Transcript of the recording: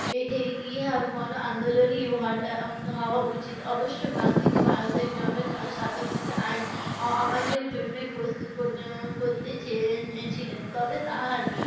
এ~ এই ইহা গনআন্দলনই হটা~ উম হওয়া উচিত অবশ্য গান্ধিজী ভারতের জন সাধারণকে যে আইন অ~ অমান্যের জন্যে প্রস্তুত কর ~ উম করতে চেয়ে~ চেয়েছিলেন তবে তাহার